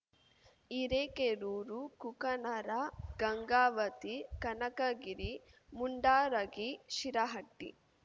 Hirekerur Kukanur Gangavati Kanakagiri Mundargi Shirahatti